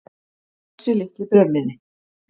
Þessi litli bréfmiði.